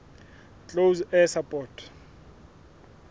close air support